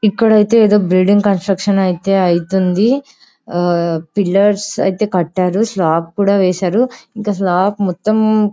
ఇక్కడైతే ఎదో building construction అయితే ఐతుంది ఆ పిల్లర్స్ ఐతే కట్టారు స్లాప్ కూడా వేశారు ఇంకా స్లాప్ మొత్తం --